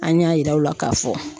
An y'a yir'aw la k'a fɔ